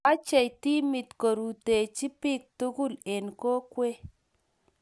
mechhei timit korutechi biik togul eng kokwee